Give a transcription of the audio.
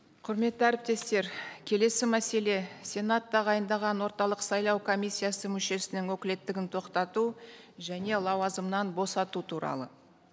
құрметті әріптестер келесі мәселе сенат тағайындаған орталық сайлау комиссиясы мүшесінің өкілеттігін тоқтату және лауазымнан босату туралы